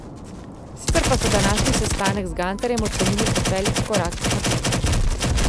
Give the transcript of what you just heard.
Sicer pa so današnji sestanek z Gantarjem ocenili kot velik korak naprej.